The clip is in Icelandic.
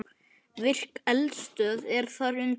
Virk eldstöð er þar undir.